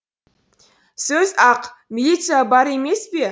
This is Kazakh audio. сөз ақ милиция бар емес пе